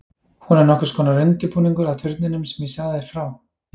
Hún er nokkurs konar undirbúningur að turninum sem ég sagði þér frá.